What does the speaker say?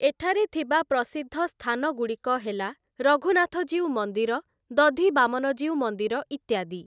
ଏଠାରେ ଥିବା ପ୍ରସିଦ୍ଧ ସ୍ଥାନଗୁଡ଼ିକ ହେଲା ରଘୁନାଥଜୀଉ ମନ୍ଦିର, ଦଧିବାମନଜୀଉ ମନ୍ଦିର ଇତ୍ୟାଦି ।